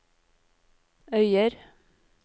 Øyer